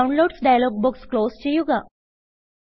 downloads dialog box close ചെയ്യുക